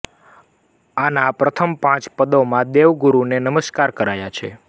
આના પ્રથમ પાંચ પદોમાં દેવગુરુને નમસ્કાર કરાયા છે